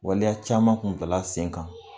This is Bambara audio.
Waleya caman kun bilala sen kan